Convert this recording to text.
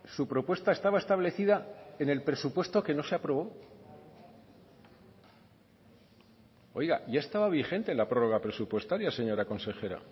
su propuesta estaba establecida en el presupuesto que no se aprobó oiga ya estaba vigente la prórroga presupuestaria señora consejera